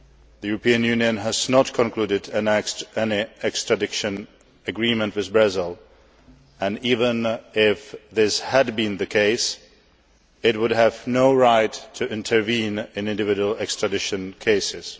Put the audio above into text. The European Union has not concluded any extradition agreement with Brazil and, even if this had been the case, it would have no right to intervene in individual extradition cases.